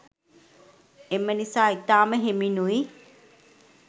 එම නිසා ඉතාම හෙමිනුයි